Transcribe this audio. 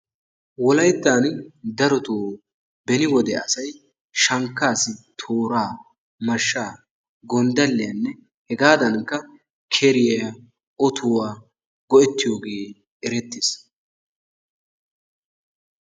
Wolayttan daroto beni wode asay shankkaassi tooraa, mashshaa, gonddalliyanne hegaadaanikka keriya, otuwa go'ettiyoogee erettes.